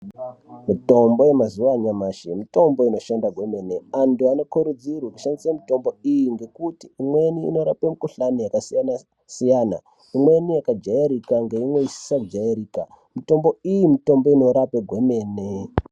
Mutombo yemazuva anyamashi mutombo inoshanda kwemene antu anokurudzirwa kushandise mutombo iyi ngekuti imweni inorape mukuhlani yakasiyana siyana imweni yakajairika ngeimwe isisajairika mutombo iyi mutombo inorape kwemene.